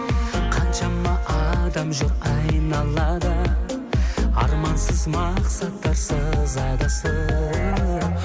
қаншама адам жүр айналада армансыз мақсаттарсыз адасып